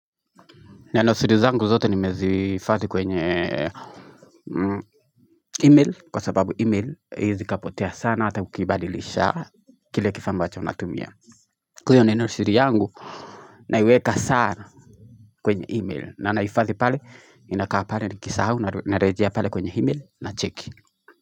Neno siri zangu zote nimezihifadhi kwenye email kwa sababu email haiwezi kapotea sana hata ukibadilisha kile kifaa ambacho unatumia Kwa hiyo neno siri yangu na iweka sana kwenye email na naifadhi pale inakaapale nikisahau na rejea pale kwenye email na check.